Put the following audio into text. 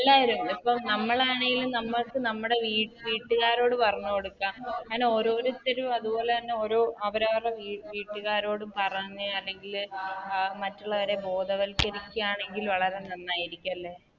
ല്ലാരും പ്പം നമ്മളാണെലും നമ്മൾക്ക് നമ്മളെ വീട്ട് വീട്ടുകാരോട് പറഞ്ഞ് കൊടുക്കാം അങ്ങനെ ഓരോരുത്തരും അതുപോലെ തന്നെ ഓരോ അവരവരുടെ വീ വീട്ട്കാരോടും പറഞ്ഞ് അല്ലെങ്കില് അഹ് മറ്റുള്ളവരെ ബോധവൽക്കരിക്കണെങ്കില് വളരെ നന്നായിരിക്കും അല്ലെ